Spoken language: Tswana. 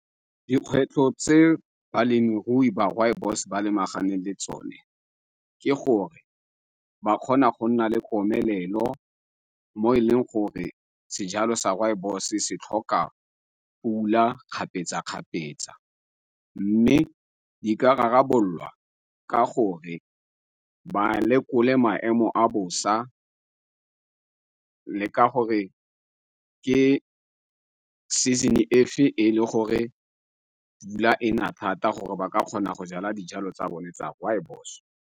Dikgwetlho tse balemirui ba rooibos ba lebagane le tsone ke gore ba kgona go nna le komelelo mo e leng gore sejalo sa rooibos se tlhoka pula kgapetsa-kgapetsa. Mme di ka rarabololwa ka gore ba lekole maemo a bosa le ka gore ke season-e efe e le gore pula e na thata gore ba ka kgona go jala dijalo tsa bone tsa rooibos.